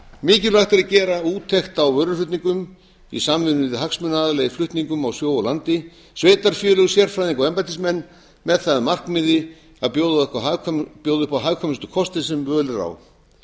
mikilvægt er að gera úttekt á vöruflutningum í samvinnu við hagsmunaaðila í flutningum á sjó og landi sveitarfélög sérfræðinga og embættismenn með það að markmiði að bjóða upp á hagkvæmustu kosti sem völ er á